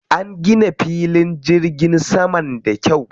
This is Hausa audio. An gina filin jirgin saman da kyau.